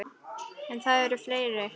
En það eru fleiri.